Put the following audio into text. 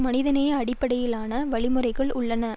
மனிதநேய அடிப்படையிலான வழிமுறைகள் உள்ளன